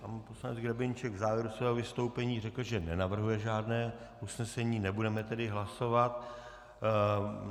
Pan poslanec Grebeníček v závěru svého vystoupení řekl, že nenavrhuje žádné usnesení, nebudeme tedy hlasovat.